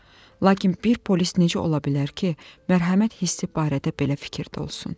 Lakin bir polis necə ola bilər ki, mərhəmət hissi barədə belə fikirdə olsun?